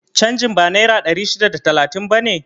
Canjin ba naira ɗari shida da talatin bane?